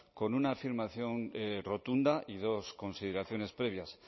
con una afirmación rotunda y dos consideraciones previas